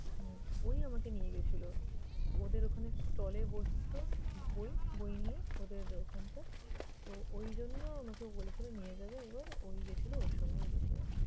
হম ওই আমাকে নিয়ে গেছিলো। ওদের ওখানে stall এ বসতো বই বই নিয়ে ওদের ওখানকার। তো ঐজন্য আমাকে বলেছিল নিয়ে যাবে একবার। ওই গিয়েছিলো, ওর সঙ্গেই গেছিলাম।